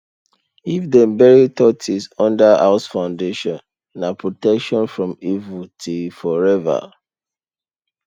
if dem bury tortoise under house foundation na protection from evil till forever